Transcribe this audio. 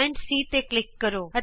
ਬਿੰਦੂ C ਤੇ click ਕਰੋ